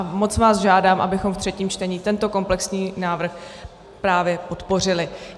A moc vás žádám, abychom v třetím čtení tento komplexní návrh právě podpořili.